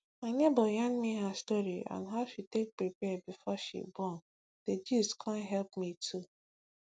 my neighbor yarn me her story on how she take prepare before she born d gist con help me too